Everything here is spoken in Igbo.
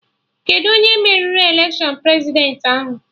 Kedụ onye meriri election Prezidentị ahụ?